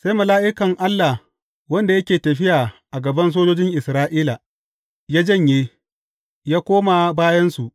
Sai mala’ikan Allah wanda yake tafiya a gaban sojojin Isra’ila, ya janye, ya koma bayansu.